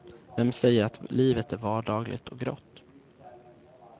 Vem säger att livet är vardagligt och grått.